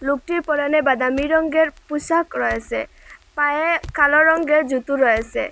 লোকটির পরনে বাদামি রঙ্গের পুশাক রয়েছে পায়ে কালো রঙ্গের জুতো রয়েছে।